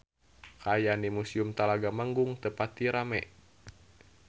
Kaayaan di Museum Talaga Manggung teu pati rame